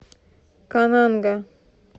кананга